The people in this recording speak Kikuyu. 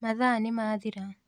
Mathaa nĩmathiraa.